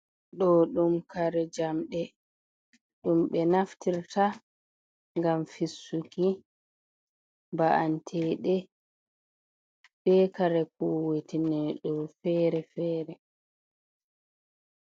Ɗo ɗum kare jamɗe, ɗum ɓe naftirta ngam fissuki ba’anteɗe be kare kuwitine ɗum fere-fere.